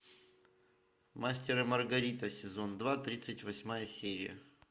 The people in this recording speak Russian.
мастер и маргарита сезон два тридцать восьмая серия